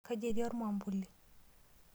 Kaji etii ormwambuli?